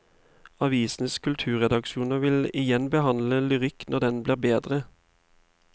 Avisenes kulturredaksjoner vil igjen behandle lyrikk når den blir bedre.